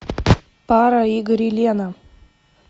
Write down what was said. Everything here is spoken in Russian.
пара игорь и лена